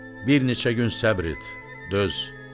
Bir neçə gün səbr et, döz.